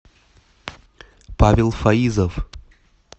павел фаизов